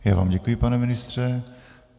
Já vám děkuji, pane ministře.